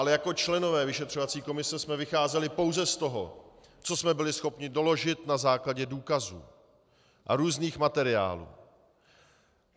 Ale jako členové vyšetřovací komise jsme vycházeli pouze z toho, co jsme byli schopni doložit na základě důkazů a různých materiálů.